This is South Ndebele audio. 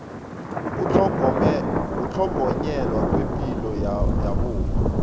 ukutlhogonyelwa kwepilo yabomma